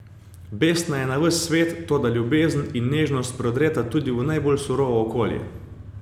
Besna je na ves svet, toda ljubezen in nežnost prodreta tudi v najbolj surovo okolje.